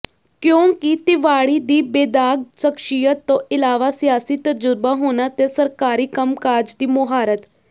ਕਿਉਂਕਿ ਤਿਵਾੜੀ ਦੀ ਬੇਦਾਗ਼ ਸਖਸ਼ੀਅਤ ਤੋਂ ਇਲਾਵਾ ਸਿਆਸੀ ਤਜ਼ੁਰਬਾ ਹੋਣਾ ਤੇ ਸਰਕਾਰੀ ਕੰਮਕਾਜ ਦੀ ਮੁਹਾਰਤ